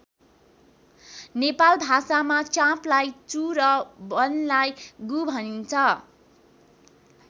नेपाल भाषामा चाँपलाई चू र वनलाई गु भनिन्छ।